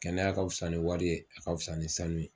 Kɛnɛya ka fisa ni wari ye a ka fisa ni sanu ye.